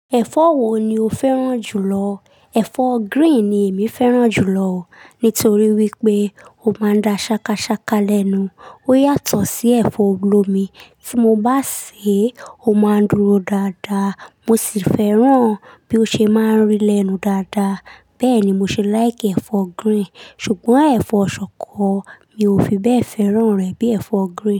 Ẹ̀fọ́ wo ni o fẹ́ràn jù lọ? Ẹ̀fọ́ green ni èmi fẹ́ràn jù lọ, nítorí wípé ó máa ń da ṣakasaka lẹ́nu, ó yàtọ̀ sí ẹ̀fọ́ olómi, tí mo bá sè é, ó máa ń dúró dáadaa, mo sì fẹ́ràn bí ó ṣe máa ń rí lẹ́nu dáadaa. Bẹ́ẹ̀ni mo ṣe like ẹ̀fọ́ green, ṣùgbọ́n ẹ̀fọ́ ṣọkọ mi ò fi bẹ́ẹ̀ fẹ́ràn rẹ̀ bí ẹ̀fọ́ green.